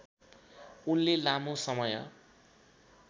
उनले लामो समय